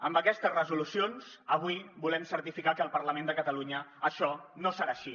amb aquestes resolucions avui volem certificar que al parlament de catalunya això no serà així